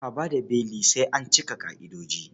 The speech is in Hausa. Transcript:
Ba a ba da beli sai an cika ƙa'idoji.